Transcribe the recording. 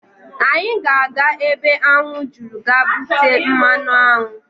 Anyị ga-aga ebe aṅụ juru ga bute mmanụaṅụ.